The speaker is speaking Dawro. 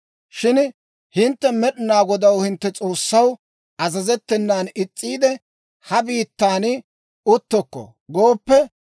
«Shin hintte Med'inaa Godaw, hintte S'oossaw, azazettenan is's'iide, ‹Ha biittan uttokko› gooppe,